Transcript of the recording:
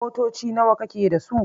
Motoci nawa kake da su?